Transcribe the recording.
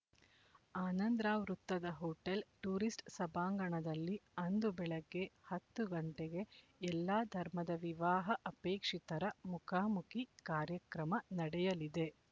ಆನಂದ ರಾವ್ ವೃತ್ತದ hotel tourist ಸಭಾಂಗಣದಲ್ಲಿ ಅಂದು ಬೆಳಿಗ್ಗೆ ಹತ್ತು ಗಂಟೆಗೆ ಎಲ್ಲಾ ಧರ್ಮದ ವಿವಾಹ ಅಪೇಕ್ಷಿತರ ಮುಖಮುಖಿ ಕಾರ್ಯಕ್ರಮ ನಡೆಯಲಿದೆ